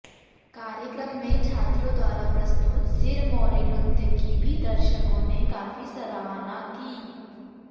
कार्यक्रम में छात्रों द्वारा प्रस्तुत सिरमौरी नृत्य की भी दर्शकों ने काफी सराहना की